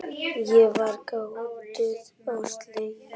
Ég var gáttuð og slegin.